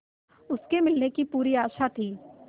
उसके मिलने की पूरी आशा थी